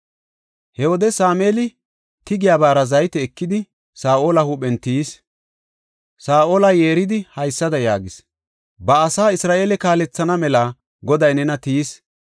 He wode Sameeli tigiyabara zayte ekidi, Saa7ola huuphen tiyis. Saa7ola yeeridi, haysada yaagis; “Ba asaa Isra7eele kaalethana mela Goday nena tiyis.